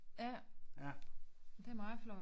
Ja det er meget flot